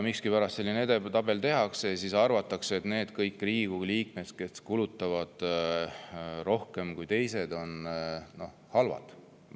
Miskipärast selline edetabel tehakse ja siis arvatakse, et kõik need Riigikogu liikmed, kes kulutavad rohkem kui teised, on halvad.